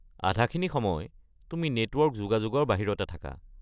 আধাখিনি সময় তুমি নেটৱৰ্ক যোগাযোগৰ বাহিৰতে থাকা।